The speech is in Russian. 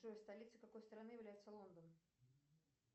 джой столицей какой страны является лондон